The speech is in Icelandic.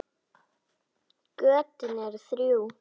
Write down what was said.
Götin eru þrjú.